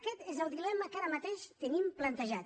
aquest és el dilema que ara mateix tenim plantejat